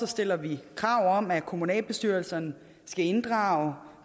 stiller vi krav om at kommunalbestyrelserne skal inddrage